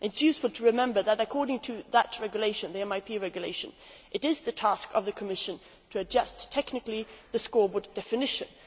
It is useful to remember that according to that Regulation the MIP Regulation it is the task of the Commission to adjust technically the scoreboard definitions.